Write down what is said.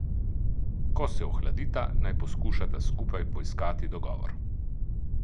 Ko se ohladita, naj poskušata skupaj poiskati dogovor.